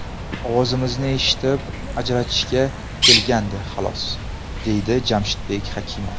Ovozimizni eshitib, ajratishga kelgandi, xolos”, deydi Jamshidbek Hakimov.